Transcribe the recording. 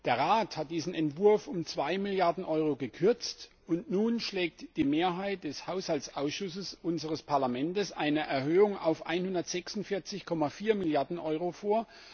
Der Rat hat diesen Entwurf um zwei Milliarden Euro gekürzt, und nun schlägt die Mehrheit des Haushaltsausschusses unseres Parlaments eine Erhöhung auf 164,4 Milliarden Euro vor.